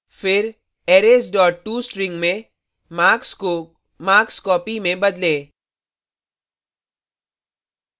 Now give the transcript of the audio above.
फिर arrays dot tostring में marks को marks copy में बदलें